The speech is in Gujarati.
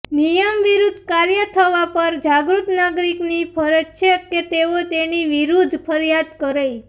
નિયમ વિરૂદ્ધ કાર્ય થવા પર જાગૃત નાગરિકની ફરજ છે કે તેઓ તેની વિરૂદ્ધ ફરિયાદ કરે